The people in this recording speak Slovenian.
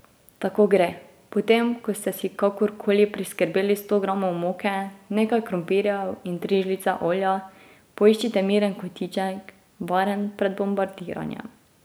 Tako gre: 'Potem, ko ste si kakorkoli priskrbeli sto gramov moke, nekaj krompirjev in tri žlice olja, poiščite miren kotiček, varen pred bombardiranjem.